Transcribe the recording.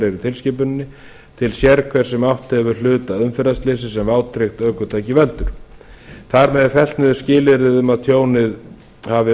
í tilskipuninni til sérhvers sem átt hefur hlut að umferðarslysi sem vátryggt ökutæki veldur þar með er fellt niður skilyrðið um að tjónið hafi